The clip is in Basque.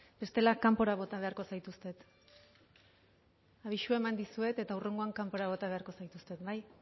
bestela kanpora bota beharko zaituztet abisua eman dizuet eta hurrengoan kanpora bota beharko zaituztet